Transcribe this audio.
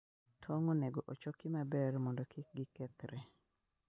Tong' onego ochoki maber mondo kik gikethre.